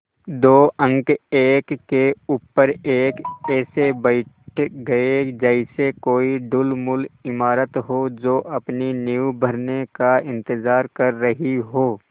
दो अंक एक के ऊपर एक ऐसे बैठ गये जैसे कोई ढुलमुल इमारत हो जो अपनी नींव भरने का इन्तज़ार कर रही हो